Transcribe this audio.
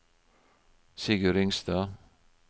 Sigurd Ringstad